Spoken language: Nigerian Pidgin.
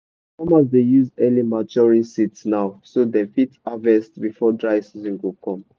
farmers dey use early maturing seeds now so dem fit harvest before dry season go come.